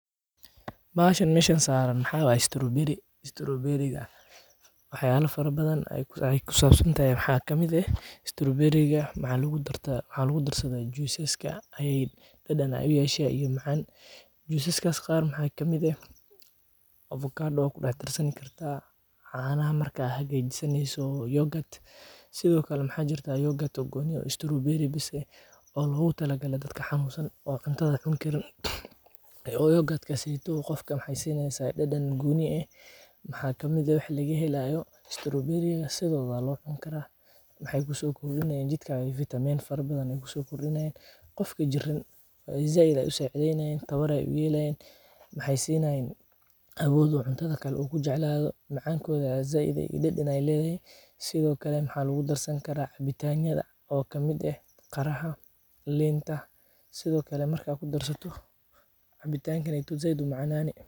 bahashan meshan saran maxaway strawberry. Strawberry ga waxay aalo faro badan. Ayay ku saabsan tahay maxaad ka mida strawberreega macalugu darteed hal ugu darsadee Juices ka. Ayd dhadhana ay u yeeshahay iyo macaan juiceska qaar maxaa kamid ah avocado waa ku dhex tirsan kartaa caanaa markaa hagay jisanyi soo yoogat. Sidoo kale maxaa jirta yoogat oo gooniyo strawberry bisey oo lagu talagalay dadka xamuusan oo cuntada kunkiran ee oo yogat ka sii toodo. Qofka maxay sanaysaa dhadhan gooni eh? Maxaa kamida wixii laga helayo strawberry sidada loo dhan kara. Maxay ku soo kululayn jidka vitameyn far badan i ku soo kululayn, qofka jirin zaid ay u saycdiin ahayn, tabara yay u yeelayn. Maxay ciidahay awoodu cuntada kale uu ku jeclayo macaankooda zayd ay dadina leedahay. Sidoo kale maxaa loogu darsan karaa bitanyada oo ka mid ah qaraha, leenta. Sidoo kale markaa ku darsato cabitan kan aytu zaydu macnaani.